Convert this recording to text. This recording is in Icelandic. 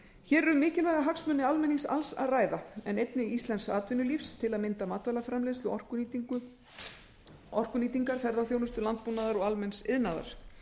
hér er um mikilvæga hagsmuni almennings alls að ræða en einnig íslensks atvinnulífs til að mynda matvælaframleiðslu orkunýtingar ferðaþjónustu landbúnaðar og almenns iðnaðar